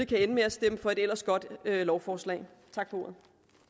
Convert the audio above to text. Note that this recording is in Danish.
kan ende med at stemme for et ellers godt lovforslag tak for ordet